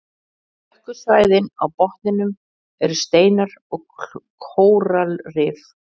Dökku svæðin á botninum eru steinar og kóralrif.